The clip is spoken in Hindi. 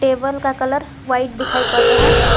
टेबल का कलर व्हाइट दिखाई पड़ रहा है।